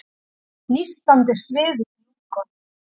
Nístandi sviði í lungunum.